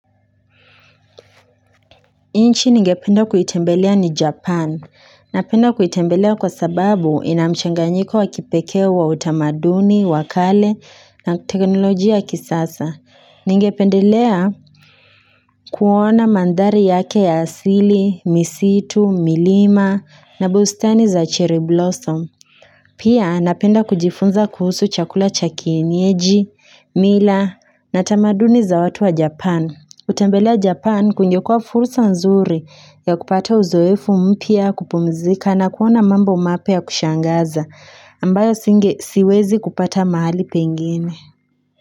Nchi ningependa kuitembelea ni Japan. Napenda kuitembelea kwa sababu inamchanganyiko wakipekee wa utamaduni, wakale na teknolojia ya kisasa. Ningependelea kuona manthari yake ya asili, misitu, milima na bustani za cherry blossom. Pia napenda kujifunza kuhusu chakula cha kienyeji, mila na tamaduni za watu wa Japan. Kutembelea Japan kungekua fursa nzuri ya kupata uzoefu mpya kupumzika na kuona mambo mapya ya kushangaza ambayo singe siwezi kupata mahali pengine.